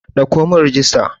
Ɗauko mun rijista!